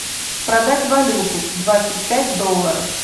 продать валюту двадцать пять долларов